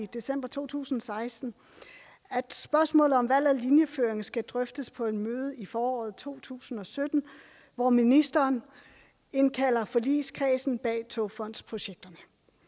december to tusind og seksten at spørgsmålet om valg af linjeføring skal drøftes på et møde i foråret to tusind og sytten hvor ministeren indkalder forligskredsen bag togfondsprojekterne